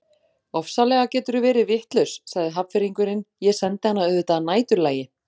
Ofsalega geturðu verið vitlaus sagði Hafnfirðingurinn, ég sendi hana auðvitað að næturlagi